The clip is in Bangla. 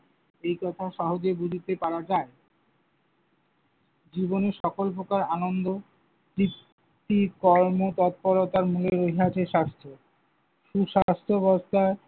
এই কথা সহজে বুঝিতে পারা যায়। জীবনে সকল প্রকার আনন্দ, তৃপ্তি, কর্মতৎপরতার মোহে রহিয়াছে স্বাস্থ্য। সুস্বাস্থ্য বলতে